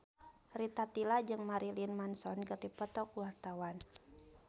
Rita Tila jeung Marilyn Manson keur dipoto ku wartawan